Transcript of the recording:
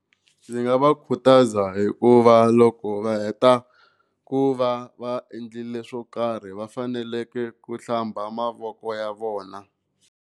Ndzi nga va khutaza hikuva loko va heta ku va va endlile swo karhi va fanekele ku hlamba mavoko ya vona.